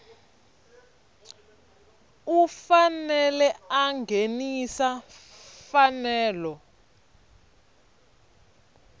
u fanele a nghenisa mfanelo